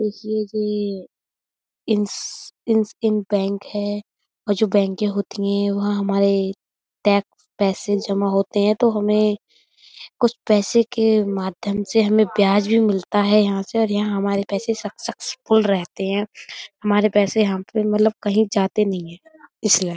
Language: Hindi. इन्स इन्सइन बैंक है और जो बैंके होती है वो हमारे टैक्स पैसे जमा होते है तो हमें कुछ पैसे के माध्यम से हमें ब्याज भी मिलता है यहाँ से और यहाँ हमारे पैसे सक्सेसफुल रहते हैं। हमारे पैसे यहाँ पे मतलब कही जाते नहीं है इसलिए।